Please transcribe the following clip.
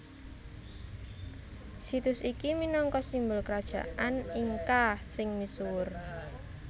Situs iki minangka simbul Krajaan Inka sing misuwur